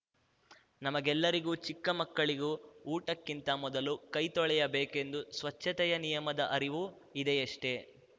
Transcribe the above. ನಮಗೆಲ್ಲರಿಗೂ ಚಿಕ್ಕ ಮಕ್ಕಳಿಗೂ ಊಟಕ್ಕಿಂತ ಮೊದಲು ಕೈತೊಳೆಯ ಬೇಕೆಂದು ಸ್ವಚ್ಛತೆಯ ನಿಯಮದ ಅರಿವು ಇದೆಯಷ್ಟೆ